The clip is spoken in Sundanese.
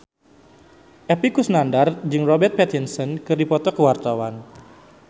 Epy Kusnandar jeung Robert Pattinson keur dipoto ku wartawan